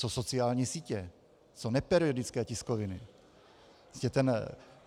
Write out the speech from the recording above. Co sociální sítě, co neperiodické tiskoviny?